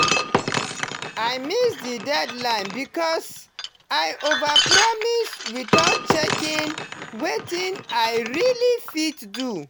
i miss the deadline because i overpromise without checking wetin i really fit do.